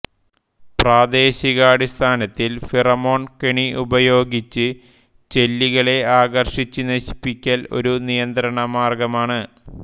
പ്രാദേശികാടിസ്ഥാനത്തിൽ pheromone കെണി ഉപയോഗിച്ച് ചെല്ലികളെ ആകർഷിച്ച് നശിപ്പിക്കൽ ഒരു നിയന്ത്രണമാർഗ്ഗമാണ്